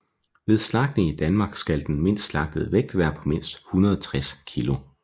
Ved slagtning i Danmark skal den slagtede vægt være på mindst 160 kg